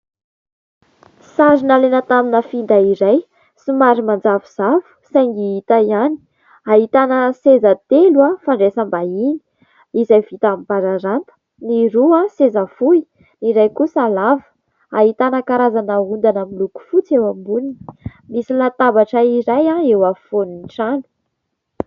Sary nalaina tamina finday iray, somary manjavozavo saingy hita ihany, ahitana seza telo fandraisam-bahiny izay vita amin'ny bararata : ny roa seza fohy, ny iray kosa lava. Ahitana ondana miloko fotsy eo amboniny. Misy latabatra iray eo ampovoan'ny trano.